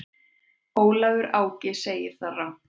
Ólafur Áki segir það rangt.